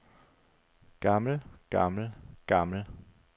gammel gammel gammel